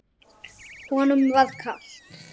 Honum var kalt.